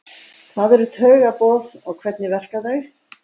Hvað eru taugaboð og hvernig verka þau?